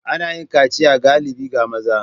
Ana yin kaciya galibi ga maza.